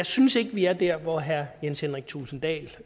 synes vi er der hvor herre jens henrik thulesen dahl